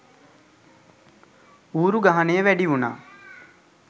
ඌරු ගහනය වැඩි උනා